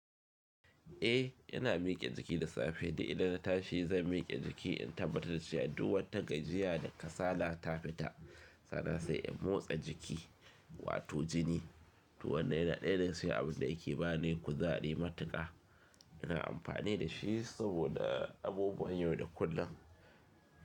Eh yana mike jiki da safe, di inda na tashi zan mike jiki in tabbatar da cewa duk wani tagajiya da kasala ta fita, sannan sai in motsa jiki, wato jini. To wannan yana daya daga cikin abin da yake ba ni kuzari matuƙa. Ina amfani da shi saboda abubuwan yau da kullum.